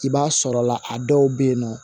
I b'a sɔrɔla a dɔw be yen nɔ